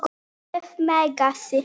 Með Megasi.